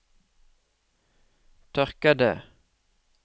tørkede